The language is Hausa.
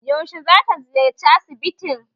Yaushe za ta ziyarci asibitin?